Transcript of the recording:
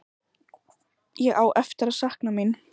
Ég á eftir að sakna mín.